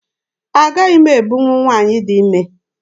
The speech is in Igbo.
Agaghị m ebunwu nwaanyị dị ime.